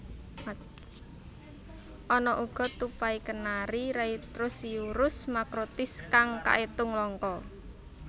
Ana uga tupai kenari Rheithrosciurus macrotis kang kaetung langka